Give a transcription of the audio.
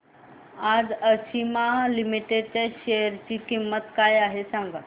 आज आशिमा लिमिटेड च्या शेअर ची किंमत काय आहे हे सांगा